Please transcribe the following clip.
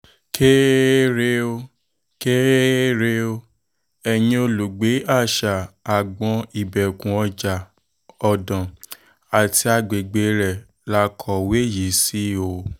kẹrẹrẹ ó um kéré ó kéré o um ẹ̀yìn olùgbé àṣà àgbọ́n ìbẹ̀kù ọjà-ọ̀dàn àti agbègbè rẹ̀ la kọ̀wé yìí sí o